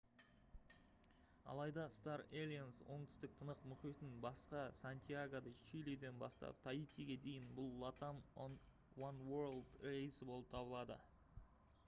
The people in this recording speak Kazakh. алайда star alliance оңтүстік тынық мұхитынан басқа сантьяго-де-чилиден бастап таитиге дейін бұл latam oneworld рейсі болып табылады